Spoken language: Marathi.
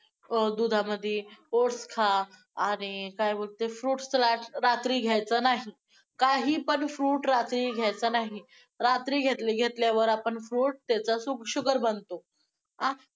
अं दुधामध्ये oats खा आणि काय बोलते fruit salad रात्री घ्यायचं नाही, काही पण fruit रात्री घ्यायचा नाही. रात्री घेतलं~घेतल्यावर आपण fruit त्याचं sugar बनतो.